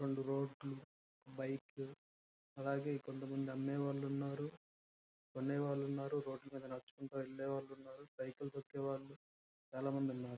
Road bike కొంత మంది కొనుకొనేవాళ్లు ఉన్నారు. అమ్మేవాళ్లు ఉన్నారు. రోడ్ మీద నడుచుకొని వెళ్లే వాలు ఉన్నారు.